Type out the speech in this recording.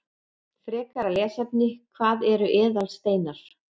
Frekara lesefni: Hvað eru eðalsteinar?